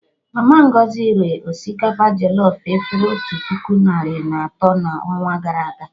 Mama Ngozi ree osikapa jọlọf efere otu puku narị na atọ na ọnwa gara aga